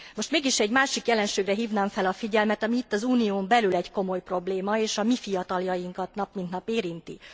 Most mégis egy másik jelenségre hívnám fel a figyelmet, ami itt, az Unión belül egy komoly probléma, és a mi fiataljainkat nap mint nap érinti.